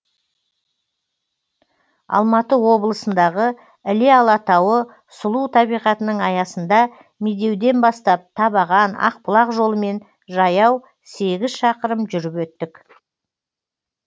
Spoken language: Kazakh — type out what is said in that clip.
алматы облысындағы іле алатауы сұлу табиғатының аясында медеуден бастап табаған ақбұлақ жолымен жаяу сегіз шақырым жүріп өттік